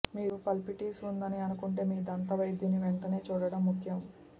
మీరు పల్పిటిస్ ఉందని అనుకుంటే మీ దంతవైద్యుని వెంటనే చూడడం ముఖ్యం